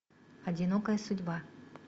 одинокая судьба